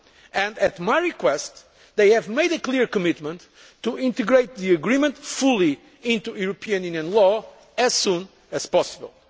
on them. And at my request, they have made a clear commitment to integrating the agreement fully into European Union law as soon as